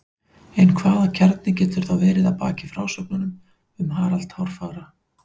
en hvaða kjarni getur þá verið að baki frásögnum um harald hárfagra